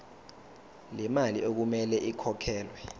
lemali okumele ikhokhelwe